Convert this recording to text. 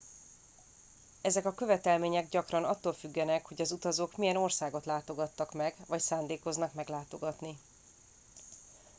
ezek a követelmények gyakran attól függenek hogy az utazók milyen országokat látogattak meg vagy szándékoznak meglátogatni